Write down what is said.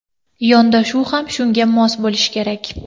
Yondashuv ham shunga mos bo‘lishi kerak.